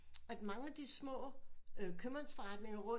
At mange af de små købmandsforretninger rundt